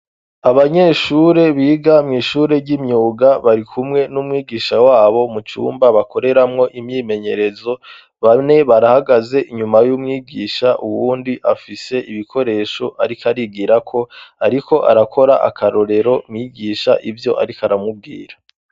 Abanyeshure biga mw'ishure ry'imyuga bari kumwe n'umwigisha wabo mu cyumba bakoreramwo imyimenyerezo bamne barahagaze inyuma y'umwigisha uwundi afise ibikoresho arikarigira ko ariko arakora akarorero mwigisha ivyo arikaramubwira.